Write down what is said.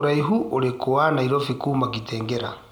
Ūraĩhu ũrikũ wa Nairobi kuma Kitale